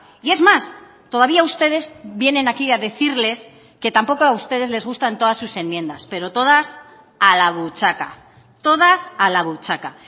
y es más todavía ustedes vienen aquí a decirles que tampoco a ustedes les gustan todas sus enmiendas pero todas a la buchaca todas a la buchaca